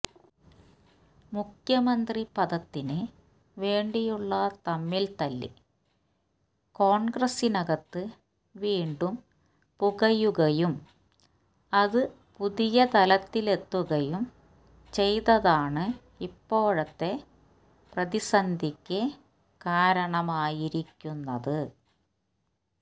മുഖ്യമന്ത്രി പദത്തിന് വേണ്ടിയുള്ള തമ്മിൽതല്ല് കോൺഗ്രസിനകത്ത് വീണ്ടും പുകയുകയും അത് പുതിയ തലത്തിലെത്തുകയും ചെയ്തതാണ് ഇപ്പോഴത്തെ പ്രതിസന്ധിക്ക് കാരണമായിരിക്കുന്നത്